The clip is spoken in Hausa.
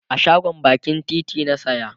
a shagon bakin titi na saya